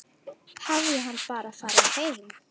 Hafði hann bara farið heim?